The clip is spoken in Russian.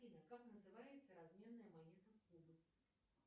афина как называется разменная монета кубы